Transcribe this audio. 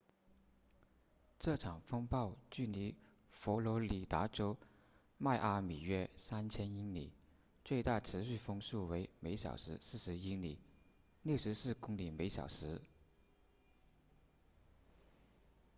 这场风暴距离佛罗里达州迈阿密约3000英里最大持续风速为每小时40英里64公里每小时